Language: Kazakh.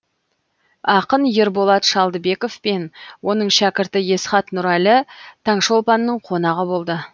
ақын ерболат шалдыбеков пен оның шәкірті есхат нұрәлі таңшолпанның қонағы болды